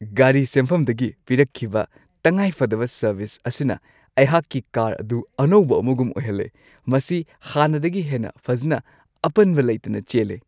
ꯒꯥꯔꯤ ꯁꯦꯝꯐꯝꯗꯒꯤ ꯄꯤꯔꯛꯈꯤꯕ ꯇꯪꯉꯥꯏꯐꯗꯕ ꯁꯔꯚꯤꯁ ꯑꯁꯤꯅ ꯑꯩꯍꯥꯛꯀꯤ ꯀꯥꯔ ꯑꯗꯨ ꯑꯅꯧꯕ ꯑꯃꯒꯨꯝ ꯑꯣꯏꯍꯜꯂꯦ; ꯃꯁꯤ ꯍꯥꯟꯅꯗꯒꯤ ꯍꯦꯟꯅ ꯐꯖꯅ ꯑꯄꯟꯕ ꯂꯩꯇꯅ ꯆꯦꯜꯂꯦ !